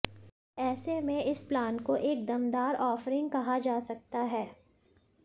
ऐसे में इस प्लान को एक दमदार ओफ़रिंग कहा जा सकता है